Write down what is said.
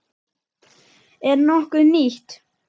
Er nokkuð nýtt?